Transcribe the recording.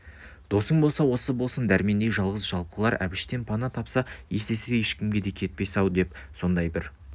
досың болса осы болсын дәрмендей жалғыз-жалқылар әбіштен пана тапса есесі ешкімге де кетпес-ау деп сондай бір